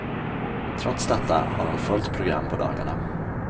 Trots detta har hon fullt program på dagarna.